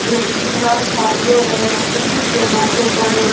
वे विवाह शादियों व खुशी के मौके पर--